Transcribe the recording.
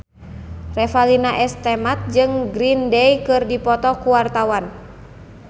Revalina S. Temat jeung Green Day keur dipoto ku wartawan